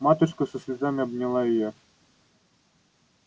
матушка со слезами обняла её